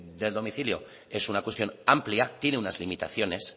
del domicilio es una cuestión amplia tiene unas limitaciones